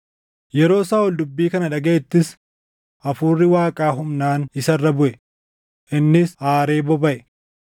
Yeroo Saaʼol dubbii kana dhagaʼettis Hafuurri Waaqaa humnaan isa irra buʼe; innis aaree bobaʼe.